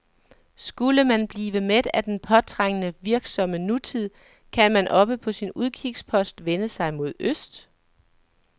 Skulle man blive mæt af den påtrængende, virksomme nutid, kan man oppe på sin udkigspost vende sig mod øst.